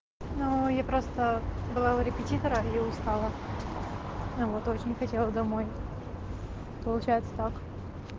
ну я просто была у репетитора и устала ну вот очень хотела домой получается так